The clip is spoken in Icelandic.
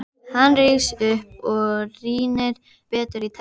Hann rís upp og rýnir betur í textann.